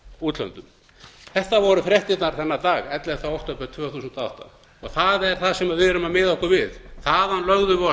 útlöndum þetta voru fréttirnar þennan dag ellefta október tvö þúsund og átta það er það sem við erum að miða okkur við þaðan lögðum við af